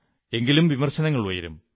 എങ്കിലും വിമർശനങ്ങളുയരും